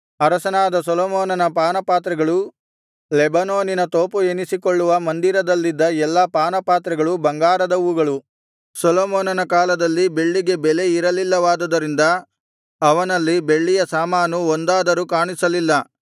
ಅರಸನಾದ ಸೊಲೊಮೋನನ ಪಾನಪಾತ್ರೆಗಳು ಲೆಬನೋನಿನ ತೋಪು ಎನಿಸಿಕೊಳ್ಳುವ ಮಂದಿರದಲ್ಲಿದ್ದ ಎಲ್ಲಾ ಪಾನಪಾತ್ರೆಗಳು ಬಂಗಾರದವುಗಳು ಸೊಲೊಮೋನನ ಕಾಲದಲ್ಲಿ ಬೆಳ್ಳಿಗೆ ಬೆಲೆ ಇರಲಿಲ್ಲವಾದುದರಿಂದ ಅವನಲ್ಲಿ ಬೆಳ್ಳಿಯ ಸಾಮಾನು ಒಂದಾದರೂ ಕಾಣಿಸಲಿಲ್ಲ